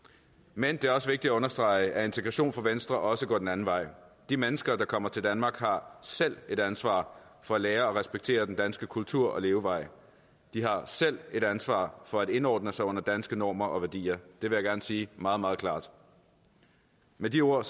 men det er også vigtigt at understrege at integration for venstre også går den anden vej de mennesker der kommer til danmark har selv et ansvar for at lære og respektere den danske kultur og levevej de har selv et ansvar for at indordne sig under danske normer og værdier det vil jeg gerne sige meget meget klart med de ord